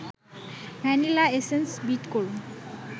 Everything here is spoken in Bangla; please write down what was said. ভ্যানিলা এসেন্স বিট করুন